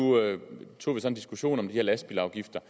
tog vi så en diskussion om de her lastbilafgifter